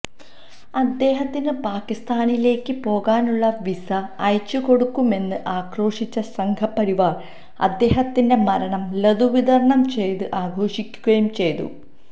അദ്ദേഹത്തിന് പാക്കിസ്ഥാനിലേക്ക് പോകാനുള്ള വീസ അയച്ചുകൊടുക്കുമെന്ന് ആക്രോശിച്ച സംഘപരിവാര് അദ്ദേഹത്തിന്റെ മരണം ലഡു വിതരണം ചെയ്തു ആഘോഷിക്കുകയും ചെയ്തു